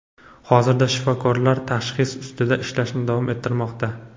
Hozirda shifokorlar tashxis ustida ishlashni davom ettirmoqda.